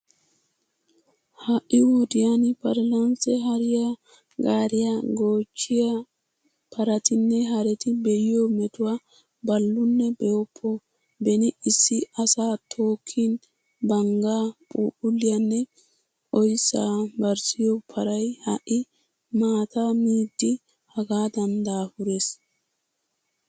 Ha"i wodiyan parlance hariya gaariya goochchiya paratinne hareti be'iyo metuwa ballunne be'oppo! Beni issi asaa tookkin banggaa, phuuphulliyanne oyssaa barssiyo paray ha"i maataa miidi hagaadan daafurees.